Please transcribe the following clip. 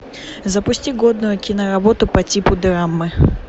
запусти годную киноработу по типу драмы